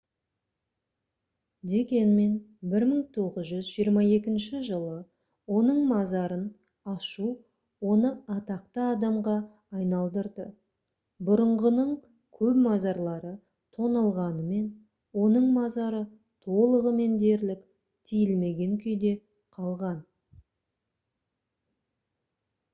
дегенмен 1922 жылы оның мазарын ашу оны атақты адамға айналдырды бұрынғының көп мазарлары тоналғанымен оның мазары толығымен дерлік тиілмеген күйде қалған